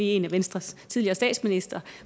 en af venstres tidligere statsministre